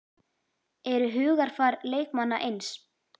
Eru hugarfar leikmanna eins?